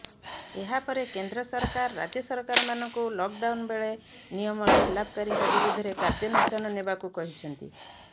ଏହାପରେ କେନ୍ଦ୍ର ସରକାର ରାଜ୍ୟ ସରକାରମାନଙ୍କୁ ଲକ୍ ଡାଉନ୍ ବେଳେ ନିୟମ ଖିଲାପକାରୀଙ୍କ ବିରୋଧରେ କାର୍ଯ୍ୟାନୁଷ୍ଠାନ ନେବାକୁ କହିଛନ୍ତି